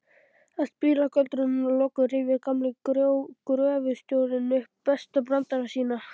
Að spilagöldrunum loknum rifjar gamli gröfustjórinn upp bestu brandarana sína.